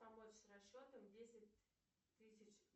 помочь с расчетом десять тысяч